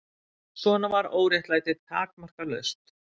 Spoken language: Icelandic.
Svona var óréttlætið takmarkalaust.